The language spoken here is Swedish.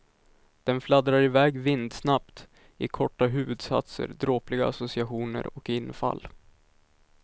Den fladdrar iväg vindsnabbt i korta huvudsatser, dråpliga associationer och infall.